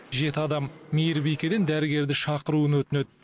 жеті адам мейірбикеден дәрігерді шақыруын өтінеді